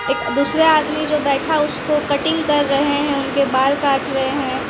एक दूसरे आदमी जो बैठा है उसको कटिंग कर रहे हैं उसके बाल काट रहे हैं।